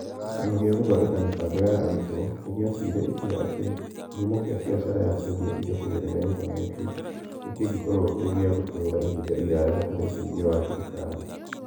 Kĩama gĩa Gũthondeka Mĩbango ya Arutwo nĩ gĩatuire itua atĩ kĩhumo kĩa biacara ya kwendia indo kũgerera intaneti nĩ kĩngĩkorũo kĩrĩ kĩa gũtũũra ihinda iraya hatarĩ ũteithio wa thirikari.